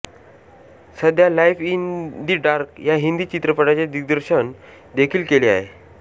सध्या life in the dark या हिंदी चित्रपटांचे दिग्दर्शन देखील केले आहे